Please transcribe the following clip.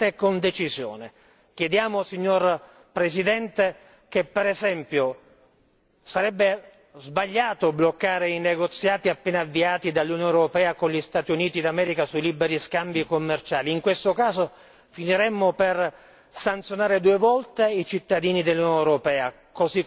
Chiediamo signor Presidente che, per esempio, sarebbe sbagliato bloccare i negoziati appena avviati dall'Unione europea con gli Stati Uniti d'America sui liberi scambi commerciali, in questo caso finiremmo per sanzionare due volte i cittadini dell'Unione europea così come la nostra economia.